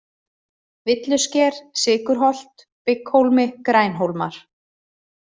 Villusker, Sykurholt, Bygghólmi, Grænhólmar